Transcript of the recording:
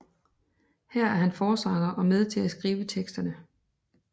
Her er han forsanger og med til at skrive teksterne